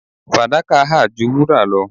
fadaka ha ju wura lo